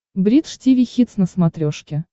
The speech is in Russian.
бридж тиви хитс на смотрешке